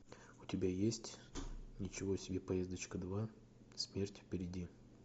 у тебя есть ничего себе поездочка два смерть впереди